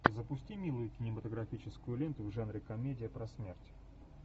запусти милую кинематографическую ленту в жанре комедия про смерть